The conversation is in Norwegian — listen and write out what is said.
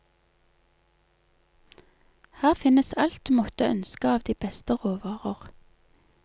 Her finnes alt du måtte ønske av de beste råvarer.